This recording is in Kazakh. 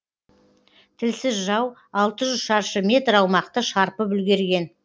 тілсіз жау алты жүз шаршы метр аумақты шарпып үлгерген